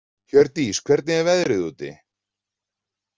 Hjördís, hvernig er veðrið úti?